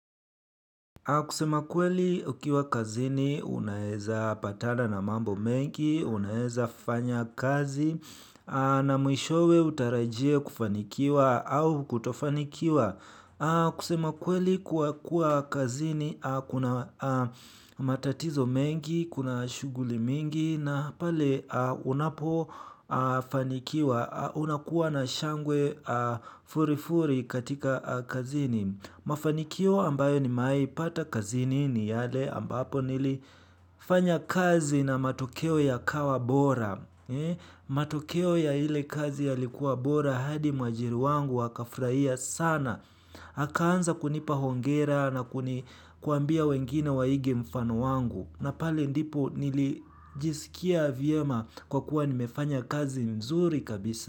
Kusema kweli ukiwa kazini, unaeza patana na mambo mengi, unaeza fanya kazi, na mwishowe utarajie kufanikiwa au kutofanikiwa. Kusema kweli kuwa kazini, kuna matatizo mengi, kuna shughuli mingi, na pale unapo fanikiwa, unakuwa na shangwe furifuri katika kazini. Mafanikio ambayo nimewahi pata kazini ni yale ambapo nilifanya kazi na matokeo ya kawa bora. Matokeo ya ile kazi yalikuwa bora hadi mwajiri wangu akafurahia sana akaanza kunipa hongera na kuambia wengine waige mfano wangu. Napale ndipo nilijisikia vyema kwa kuwa nimefanya kazi mzuri kabisa.